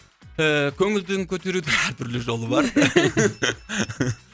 ііі көңілдің көтерудің әртүрлі жолы бар